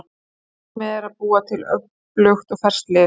Markmiðið er að búa til öflugt og ferskt lið.